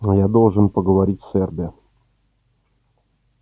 но я должен поговорить с эрби